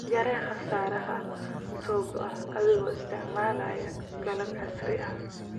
Yaree khasaaraha soo go'a adiga oo isticmaalaya qalab casri ah.